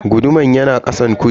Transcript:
Guduman yana kasan kujera.